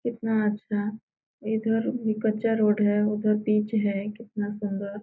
कितना अच्छा इधर भी कच्चा रोड है और पिच है कितना सुन्दर।